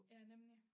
Ja nemlig